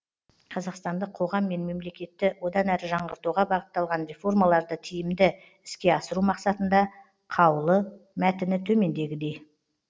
қазақстандық қоғам мен мемлекетті одан әрі жаңғыртуға бағытталған реформаларды тиімді іске асыру мақсатында қаулы мәтіні төмендегідей